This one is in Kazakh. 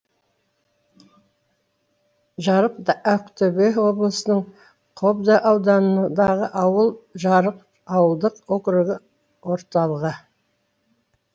жарық ақтөбе облысының қобда ауданындағы ауыл жарық ауылдық округі орталығы